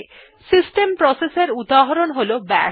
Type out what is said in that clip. system process এর উদাহরণ হল বাশ